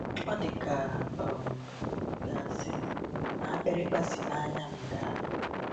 Ọ dị ka a um ga-asị na akpịrịkpa si n’anya m daa.